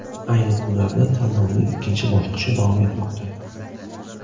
Ayni kunlarda tanlovning ikkinchi bosqichi davom etmoqda.